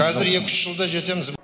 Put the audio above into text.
қазір екі үш жылда жетеміз